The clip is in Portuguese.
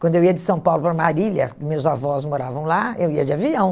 Quando eu ia de São Paulo para Marília, meus avós moravam lá, eu ia de avião.